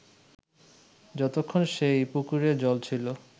যতক্ষন সেই পুকুরে জল ছিল